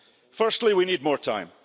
Firstly, we need more time.